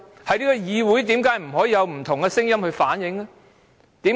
在這個議會，為何不能有不同聲音反映意見？